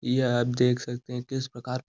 यह आप देख सकते है किस प्रकार --